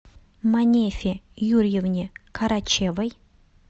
манефе юрьевне карачевой